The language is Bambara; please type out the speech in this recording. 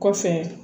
Kɔfɛ